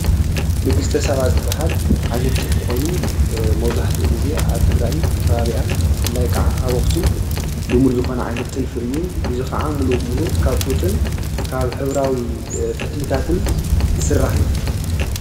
ንግስተ ሰባ ዝባሃል ዓይነት ጥልፊ ኮይኑ መብዛሕትኡ ግዜ ኣብ ትግራይን ከባቢኣን ብፍላይ ከዓ ኣብ ኣክሱም ልሙድ ዝኮነ ዓይነት ጥልፉ እዩ፡፡ እዚ ከዓ ሙሉ ብሙሉ ካብ ጡጥን ካብ ሕበራዊ ፈትልታትን ዝስራሕ እዩ፡፡